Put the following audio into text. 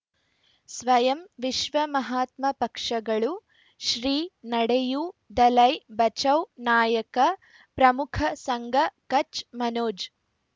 ಸ್ವಯಂ ವಿಶ್ವ ಮಹಾತ್ಮ ಪಕ್ಷಗಳು ಶ್ರೀ ನಡೆಯೂ ದಲೈ ಬಚೌ ನಾಯಕ ಪ್ರಮುಖ ಸಂಘ ಕಚ್ ಮನೋಜ್